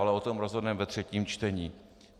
Ale o tom rozhodneme ve třetím čtení.